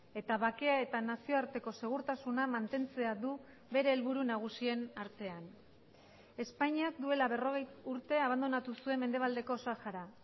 eta bakea eta nazioarteko segurtasuna mantentzea du bere helburu nagusien artean espainiak duela berrogei urte abandonatu zuen mendebaldeko sahara